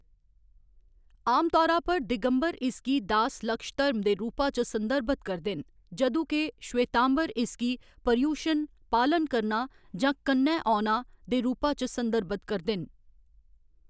आमतौरा पर, दिगंबर इसगी दास लक्ष धर्म दे रूपा च संदर्भत करदे न, जदूं के श्वेतांबर इसगी पर्युशण, पालन करना जां कन्नै औना, दे रूपा च संदर्भत करदे न।